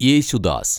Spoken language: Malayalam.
യേശുദാസ്